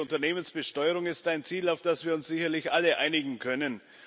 Eine faire Unternehmensbesteuerung ist ein Ziel, auf das wir uns sicherlich alle einigen können.